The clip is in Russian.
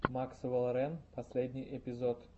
максвелл рэн последний эпизод